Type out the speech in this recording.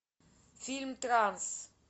фильм транс